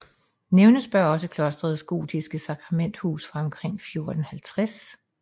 Nævnes bør også klostrets gotiske sakramenthus fra omkring 1450